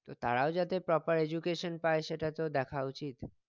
তো তারাও যাতে proper education পাই সেটা তো দেখা উচিত